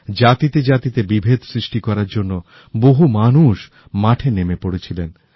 জাতিতে জাতিতে বিভেদ সৃষ্টি করার জন্য বহু মানুষ মাঠে নেমে পড়েছিলেন